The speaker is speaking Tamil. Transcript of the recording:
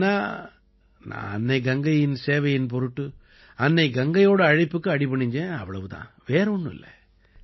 இல்லைன்னா நான் அன்னை கங்கைக்குச் சேவையின் பொருட்டு அன்னை கங்கையோட அழைப்புக்கு அடிபணிஞ்சேன் அவ்வளவு தான் வேற ஒண்ணும் இல்லை